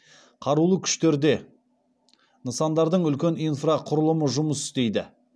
қарулы күштерде нысандардың үлкен инфрақұрылымы жұмыс істейді